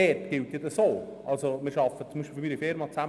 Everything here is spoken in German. Meine Unternehmung arbeitet stark mit der BFH-HAFL zusammen.